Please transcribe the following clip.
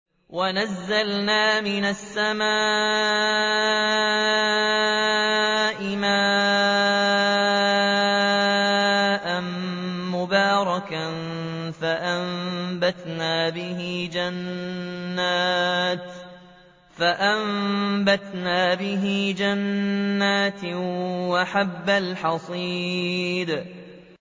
وَنَزَّلْنَا مِنَ السَّمَاءِ مَاءً مُّبَارَكًا فَأَنبَتْنَا بِهِ جَنَّاتٍ وَحَبَّ الْحَصِيدِ